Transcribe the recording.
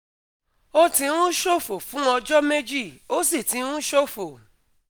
Ó ti ń ṣòfò fún ọjọ́ méjì, ó sì ti ń ṣòfò